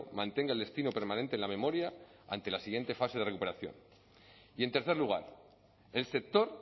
mantenga el destino permanente en la memoria ante la siguiente fase de recuperación y en tercer lugar el sector